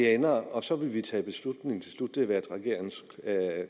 ender og så vil vi tage en beslutning til slut det har været regeringens